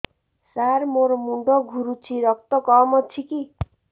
ସାର ମୋର ମୁଣ୍ଡ ଘୁରୁଛି ରକ୍ତ କମ ଅଛି କି